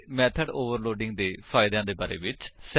ਅਤੇ method overloading ਦੇ ਫਾਇਦਿਆਂ ਦੇ ਬਾਰੇ ਵਿੱਚ